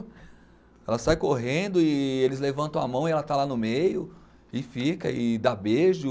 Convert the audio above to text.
Ela sai correndo e eles levantam a mão e ela está lá no meio e fica e dá beijo.